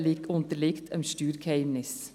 Die Wirtschafts-